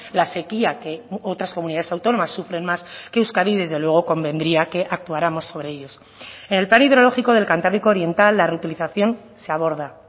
la sequía que otras comunidades autónomas sufren más que euskadi y desde luego convendría que actuáramos sobre ellos en el plan hidrológico del cantábrico oriental la reutilización se aborda